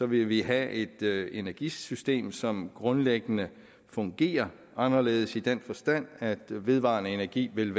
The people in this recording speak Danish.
vil vi have et energisystem som grundlæggende fungerer anderledes i den forstand at vedvarende energi vil